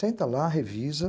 Senta lá, revisa.